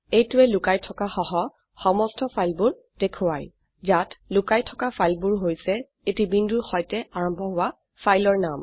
এইটোৱে লোকাইথকা সহ সমস্ত ফাইলবোৰ দেখোৱায় ইয়াত লোকাই থকা ফাইলবোৰ হৈছে এটি বিন্দুৰ সৈতে আৰম্ভ হোৱা ফাইলৰ নাম